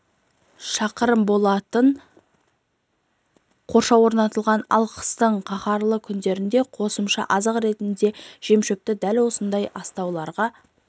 шақырым болатын қоршау орнатылған ал қыстың қаһарлы күндерінде қосымша азық ретінде жемшөпті дәл осындай астауларға